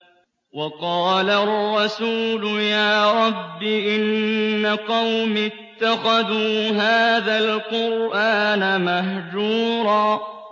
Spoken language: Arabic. وَقَالَ الرَّسُولُ يَا رَبِّ إِنَّ قَوْمِي اتَّخَذُوا هَٰذَا الْقُرْآنَ مَهْجُورًا